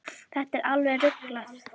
Þetta er alveg ruglað.